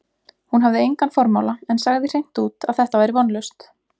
Hún hafði engan formála, en sagði hreint út, að þetta væri vonlaust.